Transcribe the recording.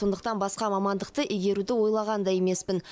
сондықтан басқа мамандықты игеруді ойлаған да емеспін